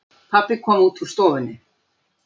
Pabbi kom út úr stofunni.